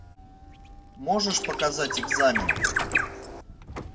можешь показать экзамен